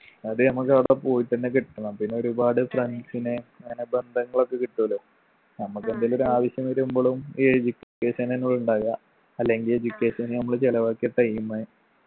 അത് നമ്മക്കവിടക്കെ പോയിട്ടന്നെ കിട്ടണം പിന്നെ ഒരുപാട് friends നെ അങ്ങനെ ബന്ധങ്ങളൊക്കെ കിട്ടുഅല്ലോ നമ്മക്കെന്തെലും ഒരാവശ്യം വരുമ്പളും ഈ education എന്നയാ ഉണ്ടാവുക അല്ലെങ്കി education ന് നമ്മള് ചെലവാക്കിയ time